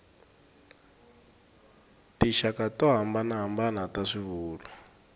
tinxaka to hambanahambana ta swivulwa